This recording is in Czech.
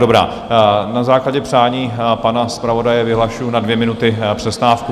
Dobrá, na základě přání pana zpravodaje vyhlašuji na dvě minuty přestávku.